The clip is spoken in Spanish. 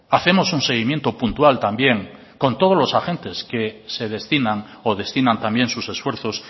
hacemos un seguimiento puntual también con todos los agentes que se destinan o destinan también sus esfuerzos